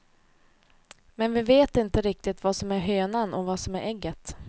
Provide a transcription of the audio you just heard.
Men vi vet inte riktigt vad som är hönan och vad som är ägget.